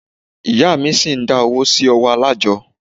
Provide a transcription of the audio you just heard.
Ìyá mí ṣi ń dá owó sí ọwọ́ alájọ́.